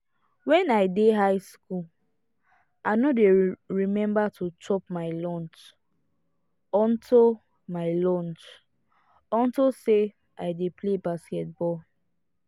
wen i dey high school i no dey remember to chop my lunch unto my lunch unto say i dey play basketball